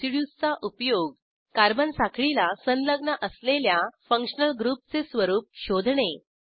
रेसिड्यूजचा उपयोग कार्बन साखळीला संलग्न असलेल्या फंक्शनल ग्रुपचे स्वरूप शोधणे